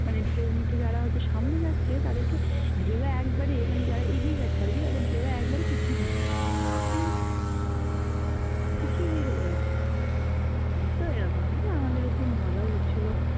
মানে ঢেউ নিতে যারা হয়তো সামনে যাচ্ছে, তাদেরকে ঢেউ একবারে, মানে যারা এগিয়ে যাচ্ছে আরকি তাদের ঢেউ একবারে পিছিয়ে দিচ্ছে উহ পিছিয়ে নিয়ে চ্লে যাচ্ছে তো এরকম, আমাদের খুব মজাও হচ্ছিল